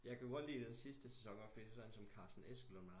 Jeg kan jo godt lide den sidste sæson fordi jeg syntes sådan en som Carsten Eskelund